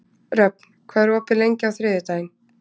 Röfn, hvað er opið lengi á þriðjudaginn?